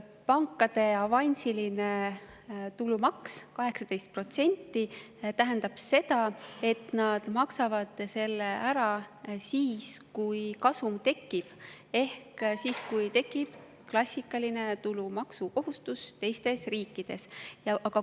Pankade avansiline tulumaks 18% tähendab seda, et nad maksavad selle ära siis, kui kasum tekib, ehk siis, kui tekib klassikaline tulumaksukohustus teistes riikides.